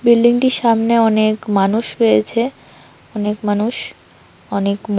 বিল্ডিংটির সামনে অনেক মানুষ রয়েছে অনেক মানুষ অনেক মা--